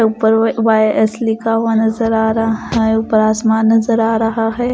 ऊपर वा_एस लिखा हुआ नजर आ रहा है ऊपर आसमान नजर आ रहा है।